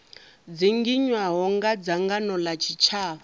dzinginywaho nga dzangano la tshitshavha